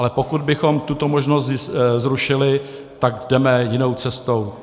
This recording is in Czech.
Ale pokud bychom tuto možnost zrušili, tak jdeme jinou cestou.